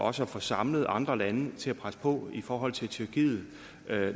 og også får samlet andre lande til at presse på i forhold til tyrkiet